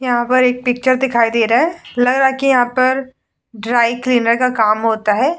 यहाँ पर एक पिक्चर दिखाई दे रहा है लग रहा है कि यहाँ पर ड्राई क्लीनर का काम होता है ।